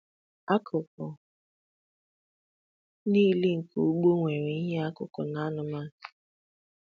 Akụkụ niile nke ụgbọ nwere ihe ọkụkụ na anụmanụ.